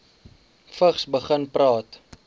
vigs begin praat